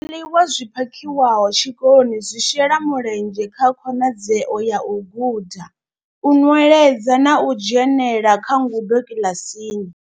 Zwiḽiwa zwi phakhiwaho tshikoloni zwi shela mulenzhe kha khonadzeo ya u guda, u nweledza na u dzhenela kha ngudo kiḽasini.